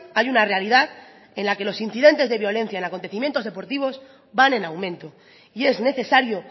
hay una realidad en la que los incidentes de violencia en acontecimientos deportivos van en aumento y es necesario